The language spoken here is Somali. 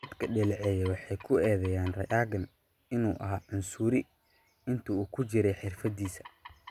dadka dhaleeceeya waxay ku eedeeyaan Reagan inuu ahaa cunsuri intii uu ku jiray xirfadiisa.